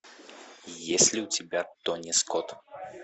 есть ли у тебя тони скот